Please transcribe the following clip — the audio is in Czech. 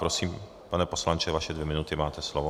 Prosím, pane poslanče, vaše dvě minuty, máte slovo.